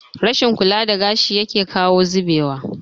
Rashin kula da gashi yake kawo zubewa